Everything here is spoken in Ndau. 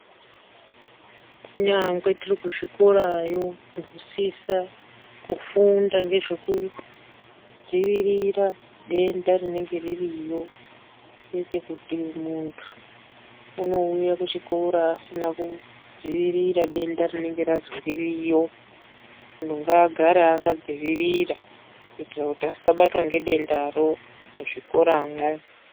Kunyangwe tiri kuzvikorayo tinosisa kufunda nezvekudziirira denda rinenge ririyo kwete kuti muntu munouya kuchikora asina kudziirirwa denda rinenge Razi ririyo muntu ngaagare akadzivirira kuitira kuti asabatwa nedendaro muzvikora mwo.